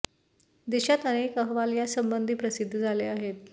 देशात अनेक अहवाल या संबंधी प्रसिद्ध झाले आहेत